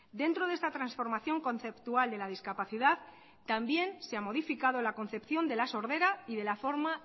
dentro de esta transformación conceptual de la discapacidad también se ha modificado la concepción de la sordera y de la forma